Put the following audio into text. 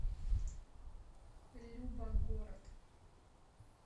любо город